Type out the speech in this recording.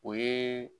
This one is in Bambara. O ye